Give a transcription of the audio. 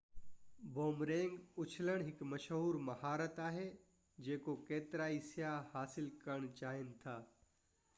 boomerang اڇلڻ هڪ مشهور مهارت آهي جيڪو ڪيترائي سياح حاصل ڪرڻ چاهين ٿا